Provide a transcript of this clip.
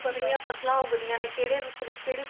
ਪਿੰਡਾਂ ਦੇ ਵਿੱਚ ਕਿਹੜੀਆਂ ਫਸਲਾਂ ਉੱਗਦੀਆਂ ਨੇ